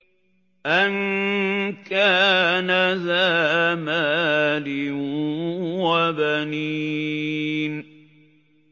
أَن كَانَ ذَا مَالٍ وَبَنِينَ